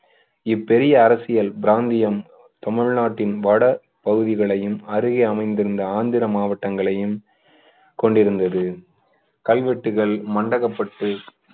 இப்பெரிய அரசியல் பிராந்தியம் தமிழ்நாட்டின் வடபகுதிகளையும் அருகே அமைந்திருந்த ஆந்திர மாவட்டங்களையும் கொண்டிருந்தது கல்வெட்டுகள் மண்டகப்பட்டு